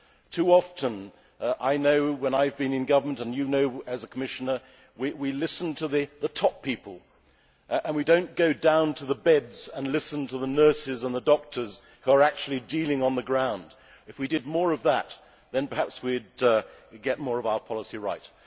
Too often I know from when I have been in government and you know as a Commissioner we listen to the top people and we do not go down to the beds and listen to the nurses and the doctors who are actually dealing on the ground. If we did more of that, then perhaps we would get more of our policy right.